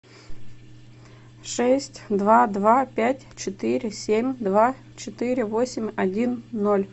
шесть два два пять четыре семь два четыре восемь один ноль